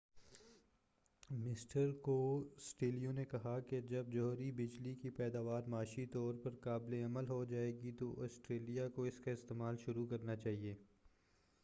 mister Costello نے کہا کہ جب جوہری بجلی کی پیداوار معاشی طور پر قابل عمل ہو جائے گی تو آسٹریلیا کو اس کا استعمال شروع کرنا چاہئے